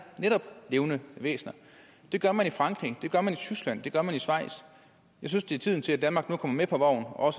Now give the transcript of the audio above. netop levende væsener det gør man i frankrig det gør man i tyskland og det gør man i schweiz jeg synes det er tiden til at danmark nu kommer med på vognen og